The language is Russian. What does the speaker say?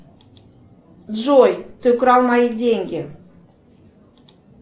джой ты украл мои деньги